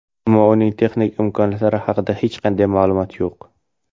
Ammo uning texnik imkoniyatlari haqida hech qanday ma’lumot yo‘q.